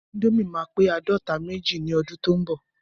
Índòmí ma pe àádọta méjì ni ọdún tí o n bọ.